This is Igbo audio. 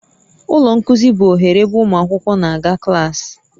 Ụlọ nkuzi bụ oghere ebe ụmụ akwụkwọ na-aga klaasị